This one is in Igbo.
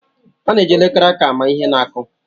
A na-eji elekere aka ama ihe na-akụ.